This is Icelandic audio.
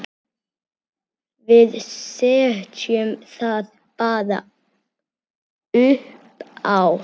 Við setjum það bara uppá.